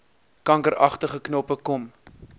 kankeragtige knoppe kom